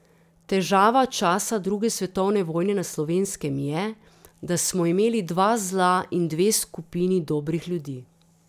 Težava časa druge svetovne vojne na slovenskem je, da smo imeli dva zla in dve skupini dobrih ljudi.